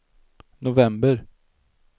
november